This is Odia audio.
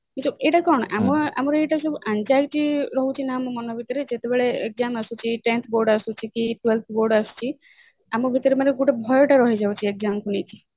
ଏଇଟା କଣ ଏଇଟା ଆମର ସବୁ anxiety ରହୁଛି ନା ଆମ ମନ ଭିତରେ ଯେତେବେଳେ exam ଆସୁଛି tenth board ଆସୁଛି twelve board ଆସୁଛି ଆମ ଭିତରେ ମାନେ ଗୋଟେ ଭୟ ଟା ରହି ଯାଉଛି exam କୁ ନେଇକି